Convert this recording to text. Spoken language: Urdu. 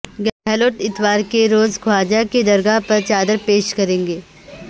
گہلوٹ اتوارکے روز خواجہ کی درگاہ پر چادر پیش کریں گے